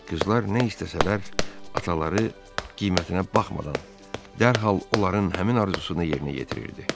Qızlar nə istəsələr, ataları qiymətinə baxmadan dərhal onların həmin arzusunu yerinə yetirirdi.